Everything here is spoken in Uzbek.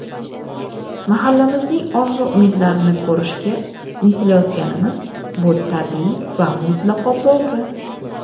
mahallamizning orzu-umidlarini ko‘rishga intilayotganimiz – bu tabiiy va mutlaqo to‘g‘ri.